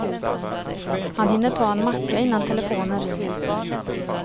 Han hinner ta en macka innan telefonen ringer.